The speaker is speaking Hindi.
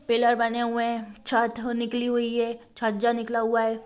पिलर बने हुए हैं छत हो निकली हुई है छज्जा निकला हुआ है।